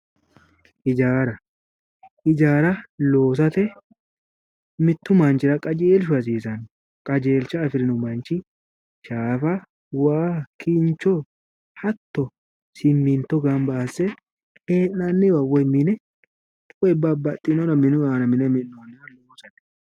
Hijaara, hijaara loosate mittu manchira qajeelishu hasiisanno qajeelisha afirinno manchi shaafa, waa, kincho hatto siminto ganba asse hee'nanniwa woyi minne woy babbaxinore minu aanna mine mi'natte.